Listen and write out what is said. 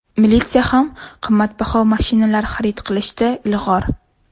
Militsiya ham qimmatbaho mashinalar xarid qilishda ilg‘or.